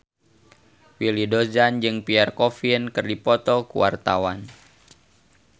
Willy Dozan jeung Pierre Coffin keur dipoto ku wartawan